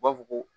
U b'a fɔ ko